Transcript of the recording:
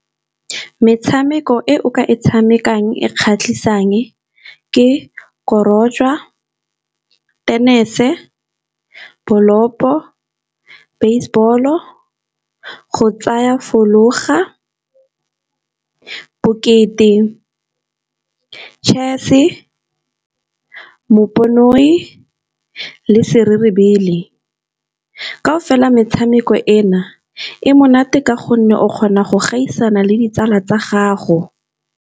Metshameko e o ka e tshamekang e kgatlhisang ke korojwa, tennis-e, bolopo, baseball-o, go tsaya fologa, bokete, chess-e, moponoi le sererebele. Kao fela metshameko e na e monate ka gonne o kgona go gaisana le ditsala tsa gago.